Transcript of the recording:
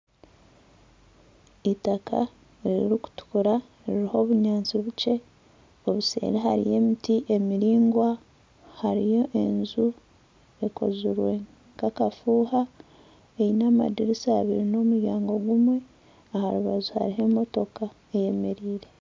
Itaka ririkutukura riruho obunyansi bukye obuseeri hariyo emiti emiringwa hariyo enju ekozirwe nka akafuuha eine amadirisa abiri n'omuryango gumwe aha rubaju hariho emotoka eyemereire.